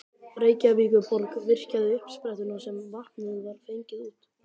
Reykjavíkurborg virkjaði uppsprettuna sem vatnið var fengið úr.